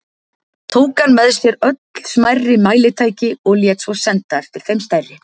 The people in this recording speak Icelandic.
Tók hann með sér öll smærri mælitæki og lét svo senda eftir þeim stærri.